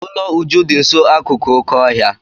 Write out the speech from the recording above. Ụlọ Uju dị nso akụkụ oké ọhịa.